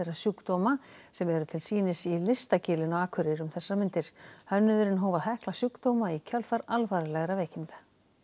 sjúkdóma sem eru til sýnis í Listagilinu á Akureyri um þessar mundir hönnuðurinn hóf að hekla sjúkdóma í kjölfar alvarlegra veikinda